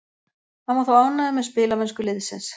Hann var þó ánægður með spilamennsku liðsins.